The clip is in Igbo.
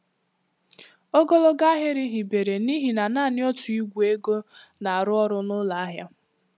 Ogologo ahịrị hibere n'ihi na naanị otu igwe ego na-arụ ọrụ n'ụlọ ahịa.